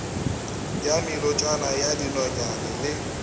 ya melotšana ya dinonyane le